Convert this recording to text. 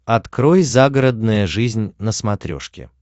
открой загородная жизнь на смотрешке